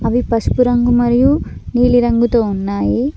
అవి పసుపు రంగు మరియు నీలిరంగుతో ఉన్నాయి.